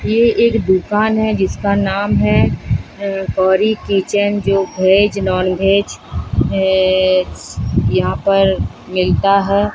ये एक दुकान है जिसका नाम है अह गौरी किचन जो वेज नॉन वेज अह यहां पर मिलता है।